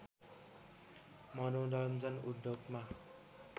मनोरञ्जन उद्योगमा